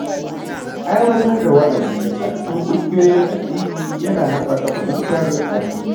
Aiwatar da wa’azi a cikin ƙungiyoyin addini ya na haɓaka fahimtar addini.